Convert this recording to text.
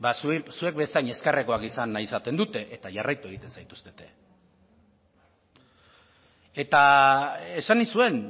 zuen bezain ezkerrekoak izan nahi izaten dute eta jarraitu egiten zaituztete eta esan nizuen